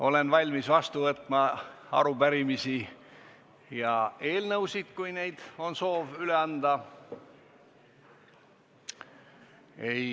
Olen valmis vastu võtma arupärimisi ja eelnõusid, kui on soovi neid üle anda.